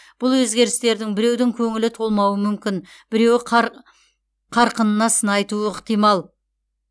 бұл өзгерістердің біреудің көңілі толмауы мүмкін біреуі қарқынына сын айтуы ықтимал